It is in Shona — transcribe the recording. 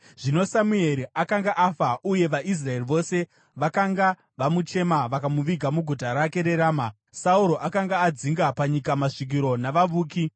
Zvino Samueri akanga afa, uye vaIsraeri vose vakanga vamuchema, vakamuviga muguta rake reRama. Sauro akanga adzinga panyika masvikiro navavuki.